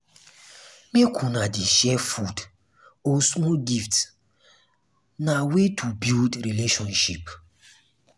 make una dey share food or small gifts na way to build relationship.